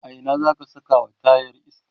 a Ina zaka Saka wa tayan iska?